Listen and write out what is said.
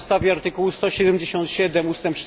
Na podstawie artykułu 177 ust.